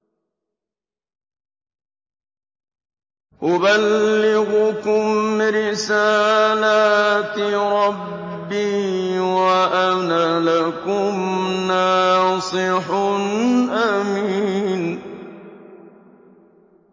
أُبَلِّغُكُمْ رِسَالَاتِ رَبِّي وَأَنَا لَكُمْ نَاصِحٌ أَمِينٌ